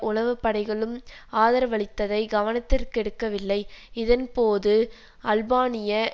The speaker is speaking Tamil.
உளவுப்படைகளும் ஆதரவளித்ததை கவனத்திற்கெடுக்கவில்லை இதன்போது அல்பானிய